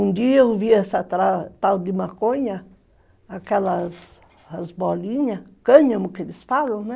Um dia eu vi essa tal de maconha, aquelas bolinhas, cânhamo que eles falam, né?